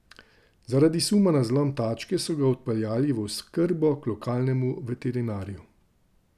Zaradi suma na zlom tačke so ga odpeljali v oskrbo k lokalnemu veterinarju.